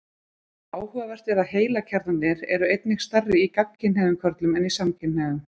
Áhugavert er að heilakjarnarnir eru einnig stærri í gagnkynhneigðum körlum en samkynhneigðum.